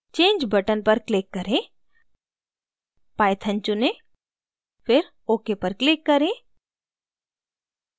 change button पर click करें python चुनें फिर ok पर click करें